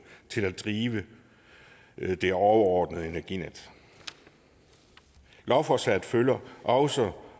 til at drive det overordnede energinet lovforslaget følger også